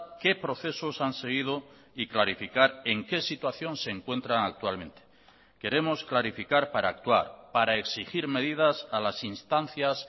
qué procesos han seguido y clarificar en qué situación se encuentran actualmente queremos clarificar para actuar para exigir medidas a las instancias